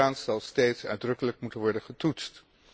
Ook hieraan zal steeds uitdrukkelijk moeten worden getoetst.